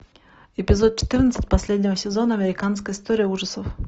эпизод четырнадцать последнего сезона американская история ужасов